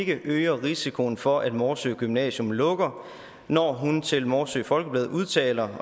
ikke øger risikoen for at morsø gymnasium lukker når hun til morsø folkeblad udtaler